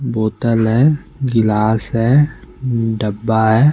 बोतल है गिलास है डब्बा है।